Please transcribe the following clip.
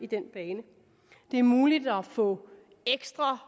den bane det er muligt at få ekstra